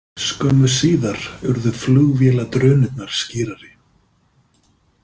Skömmu síðar urðu flugvéladrunurnar skýrari.